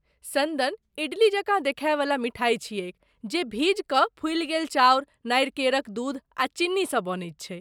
सन्दन इडली जकाँ देखाइवला मिठाइ छियैक जे भीजिकऽ फूलि गेल चाउर, नारिकेरक दूध आ चीनीसँ बनैत छै।